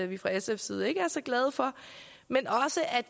vi fra sfs side ikke er så glade for men også at